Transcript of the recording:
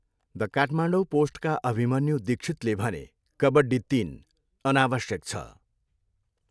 The Kathmandu पोस्टका अभिमन्यु दीक्षितले भने, कबड्डी तिन अनावश्यक छ।